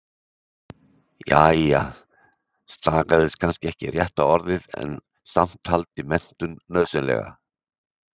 Jæja, stagaðist kannski ekki rétta orðið, en samt- taldi menntun nauðsynlega.